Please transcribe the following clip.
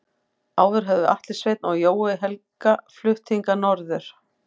Áður höfðu Atli Sveinn og Jói Helga flutt hingað norður.